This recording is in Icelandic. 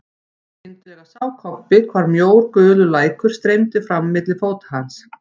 Skyndilega sá Kobbi hvar mjór gulur lækur streymdi fram milli fóta hans.